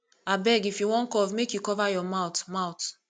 abeg if you wan cough make you cover your mouth mouth